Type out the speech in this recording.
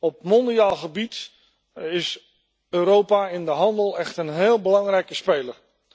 Op mondiaal gebied is Europa in de handel echt een heel belangrijke speler.